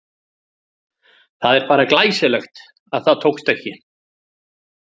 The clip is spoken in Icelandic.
Það er bara glæsilegt að það tókst ekki!